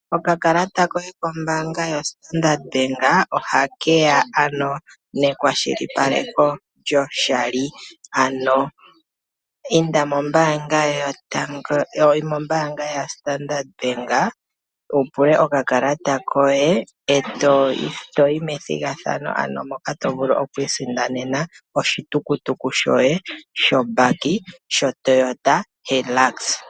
Okakalata koye kombaanga yoStandard Bank ohake ya ano nekwashilipaleko lyoshali. Ano inda mombaanga yaStandard Bank wu pule okakalata koye, e to yi methigathano, ano moka to vulu okwiisindanena oshitukutuku shoye shombaki shoToyota Hilux.